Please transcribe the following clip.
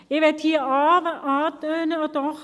Ich möchte hier anmerken: